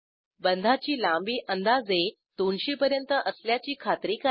बंधाची लांबी अंदाजे 200 पर्यंत असल्याची खात्री करा